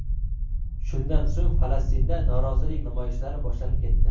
Shundan so‘ng, Falastinda norozilik namoyishlari boshlanib ketdi.